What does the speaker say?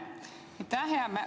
Aitäh!